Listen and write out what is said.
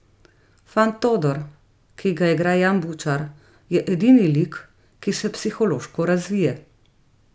Fant Todor, ki ga igra Jan Bučar, je edini lik, ki se psihološko razvije.